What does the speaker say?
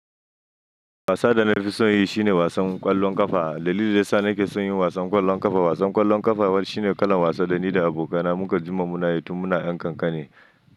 Wasan da na fi son yi shine wasan ƙwallon ƙafa. Dalilin da ya sa nake son yin wasan ƙwallon ƙafa, wasan ƙwallon ƙafa shine kalan wasa da ni da abokaina mun ka jima muna yi tun muna 'yan ƙanƙane.